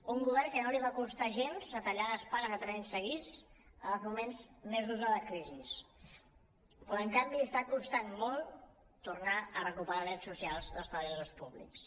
un govern al qual no li va costar gens retallar les pagues tres anys seguits en els moments més durs de la crisi però en canvi està costant molt tornar a recuperar drets socials dels treballadors públics